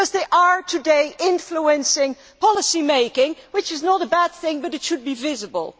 They are influencing policy making today, which is not a bad thing, but it should be visible.